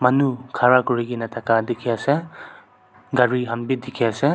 manu khara kurikena thaka dikhiase gari khan bi dikhiase.